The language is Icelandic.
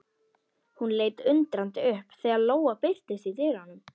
Hún leit undrandi upp þegar Lóa birtist í dyrunum.